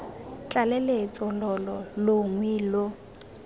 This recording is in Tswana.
tlaleletso lo lo longwe lo